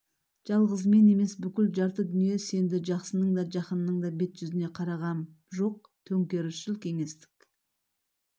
жалғыз мен емес бүкіл жарты дүние сенді жақсының да жақынның да бет-жүзіне қарағам жоқ төңкерісшіл кеңестік